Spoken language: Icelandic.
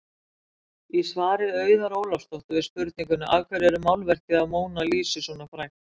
Í svari Auðar Ólafsdóttur við spurningunni Af hverju er málverkið af Mónu Lísu svona frægt?